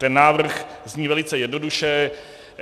Ten návrh zní velice jednoduše.